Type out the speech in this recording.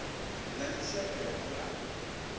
na mishonga ya u vhulaha